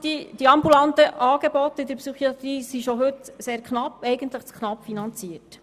Die ambulanten Angebote in der Psychiatrie sind schon heute sehr knapp, eigentlich zu knapp finanziert.